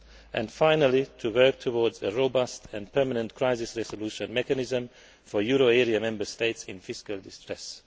and, finally, working towards a robust and permanent crisis resolution mechanism for euro area Member States in fiscal distress.